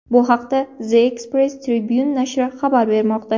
Bu haqda The Express Tribune nashri xabar bermoqda .